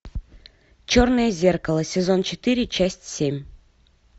черное зеркало сезон четыре часть семь